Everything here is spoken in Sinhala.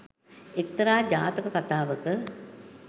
එක්තරා ජාතක කථාවක